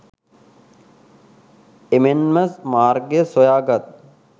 එමෙන්ම මාර්ගය සොයා ගත්